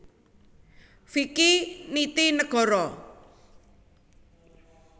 Vicky Nitinegoro